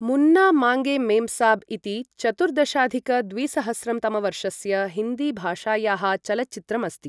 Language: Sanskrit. मुन्ना माँगे मेमसाब् इति चतुर्दशाधिक द्विसहस्रं तमवर्षस्य हिन्दीभाषायाः चलच्चित्रम् अस्ति।